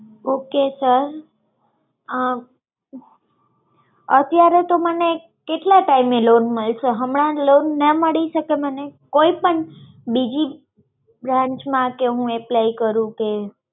okay sir અત્યારે તો મને કેટલા time એ loan મળશે હમણાં જ loan ના મળી શકે મને કોઈ પણ બીજી branch માં કે હું એપ્લાય કરું કે